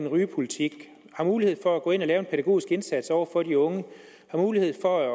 rygepolitik har mulighed for at gå ind og lave en pædagogisk indsats over for de unge har mulighed for at